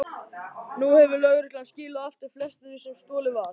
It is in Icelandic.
Nú hefur lögreglan skilað aftur flestu því sem stolið var.